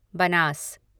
Banas